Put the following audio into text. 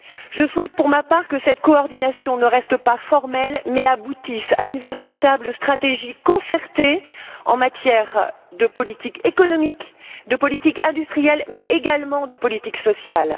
Je souhaite pour ma part que cette coordination ne reste pas formelle mais aboutisse à une véritable stratégie concertée en matière de politique économique, de politique industrielle, mais également de politique sociale.